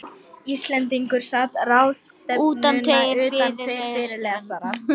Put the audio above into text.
Íslendingur sat ráðstefnuna utan tveir fyrirlesarar.